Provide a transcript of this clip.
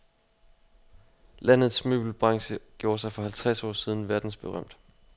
Landets møbelbranche gjorde sig for halvtreds år siden verdensberømt.